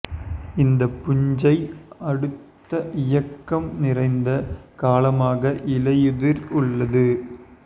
இந்த பூஞ்சை அடுத்த இயக்கம் நிறைந்த காலமாக இலையுதிர் உள்ளது